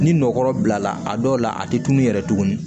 Ni nɔkɔ bilala a dɔw la a tɛ tunu yɛrɛ tuguni